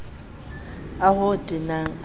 o ho tenang a ho